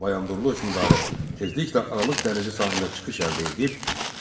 Bayandurlu hökmdarı tezliklə Aralıq dənizi sahilinə çıxış əldə edib